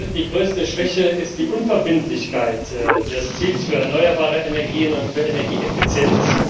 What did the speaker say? Die größte Schwäche ist die Unverbindlichkeit des Ziels für erneuerbare Energien und für Energieeffizienz.